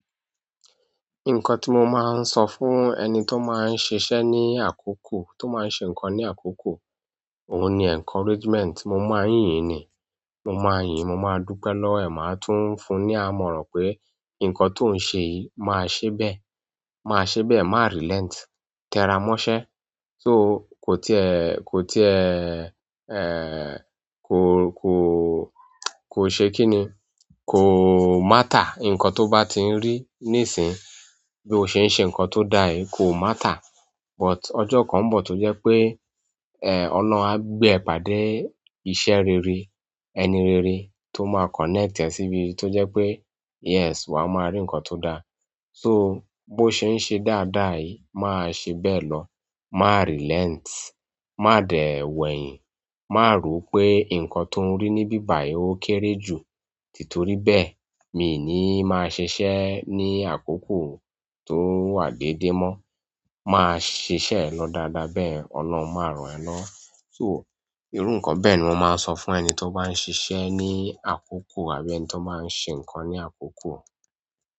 Nǹkan tí mo máa ń sọ fún ẹni tó máa ń ṣiṣẹ́ ní àkókò, tó máa ń ṣe nǹkan ní àkókò, òun ni encouragement. Mo máa ń yìn ni, mo máa yìn, mo máa dúpẹ́ lọwo ẹ̀, màá tún fún ní àmọ̀ràn pé ǹkan tó ń ṣe yìí máa ṣe bẹ́ẹ̀. Máa ṣe bẹ́ẹ̀, má relent, tẹ́ra mọ́ṣẹ́. So ko tie matter, nkan ti o ba ti n ri nisin, bo se n se nkan to daa yi ko matter but ọjọ́ kan ń bọ̀ tó jẹ́ pé, ọ̀lohun á gbé e pàdé iṣẹ́ rere, ẹni rere tó máa connect ẹ síbi tó jẹ́ pé yes, wa máa rí nkan tó dáa. So bó ṣe ń ṣe dáadáa yìí máa ṣe bẹ́ẹ̀ lọ. Má relent, má dẹ̀ wo ẹ̀yin, má ro pé ǹkan tó ń rí níbí bàyi ó kéré jù. Títorí bẹ́ẹ̀ mi ò ní máa ṣe iṣẹ́ ní àkókò tó wà dédé mọ́. Màá ṣe iṣẹ́ e lọ dáadáa bẹ́yẹ̀n ọ̀lohun maa ran ẹ lọwo. So irú ǹkan bẹ́ẹ̀ ni mo máa ń sọ fún ẹni tó bá ń ṣiṣẹ́ ní àkókò àbí ẹni tó máa ń ṣe ǹkan ní àkókò.